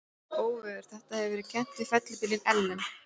Óveður þetta hefur verið kennt við fellibylinn Ellen.